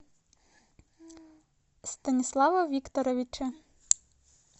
станислава викторовича